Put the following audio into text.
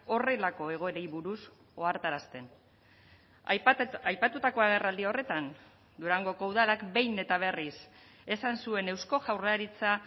horrelako egoerei buruz ohartarazten aipatutako agerraldi horretan durangoko udalak behin eta berriz esan zuen eusko jaurlaritza